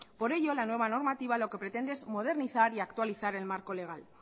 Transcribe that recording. por ello la nueva normativa lo que pretende es modernizar y actualizar el marco legal